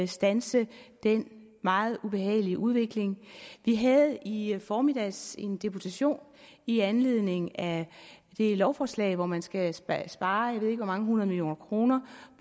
standse den meget ubehagelige udvikling vi havde i formiddags en deputation i anledning af det lovforslag hvor man skal spare spare jeg ved ikke hvor mange hundrede millioner kroner